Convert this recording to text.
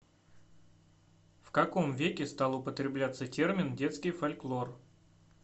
в каком веке стал употребляться термин детский фольклор